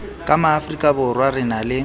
ka maafrikaborwa re na le